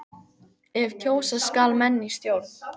ef kjósa skal menn í stjórn.